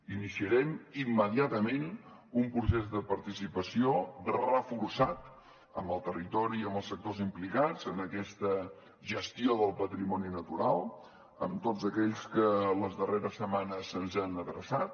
iniciarem immediatament un procés de participació reforçat amb el territori i amb els sectors implicats en aquesta gestió del patrimoni natural amb tots aquells que les darreres setmanes se’ns han adreçat